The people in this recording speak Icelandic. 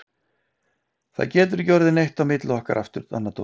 Það getur ekki orðið neitt á milli okkar aftur, Anna Dóra.